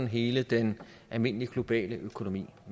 hele den almindelige globale økonomi